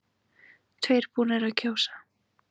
Tveir búnir að kjósa